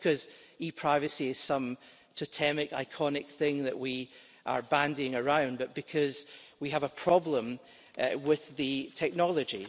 Not because e privacy is some totemic, iconic thing that we are bandying around, but because we have a problem with the technology.